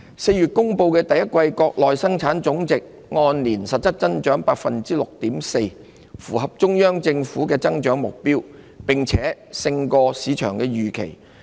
4月公布的第一季國內生產總值按年實質增長 6.4%， 符合中央政府的增長目標，並勝於市場預期。